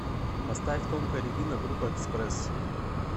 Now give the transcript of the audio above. поставь тонкая рябина группа экспресс